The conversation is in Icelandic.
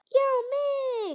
Já mig!